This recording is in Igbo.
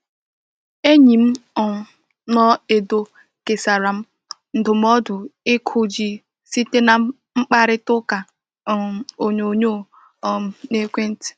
Enyi m um nọ Edo kesara m ndụmọdụ ịkụ ji site na mkparịta ụka um onyonyo um na ekwenti.